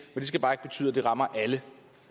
skal bare ikke betyde at det rammer alle